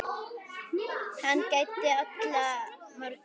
Hann gæddi alla morgna lífi.